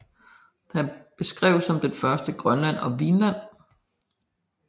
Han beskrev som den første Grønland og Vinland